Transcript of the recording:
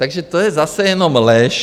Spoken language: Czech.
Takže to je zase jenom lež.